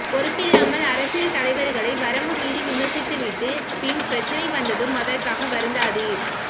பொறுப்பில்லாமல் அரசியல் தலைவர்களை வரம்பு மீறி விமர்சித்து விட்டு பின் பிரச்சனை வந்ததும் அதற்காக வருந்தாதீர்